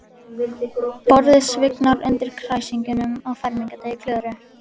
Borðið svignar undan kræsingunum á fermingardegi Klöru.